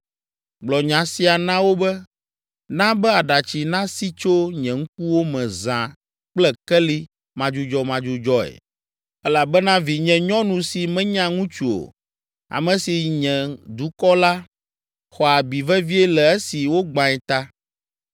“Gblɔ nya sia na wo be, “ ‘Na be aɖatsi nasi tso nye ŋkuwo me zã kple keli madzudzɔmadzudzɔe elabena vinyenyɔnu si menya ŋutsu o, ame si nye dukɔ la, xɔ abi vevie le esi wogbãe ta.